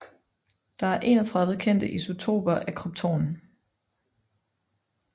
Der er 31 kendte isotoper af krypton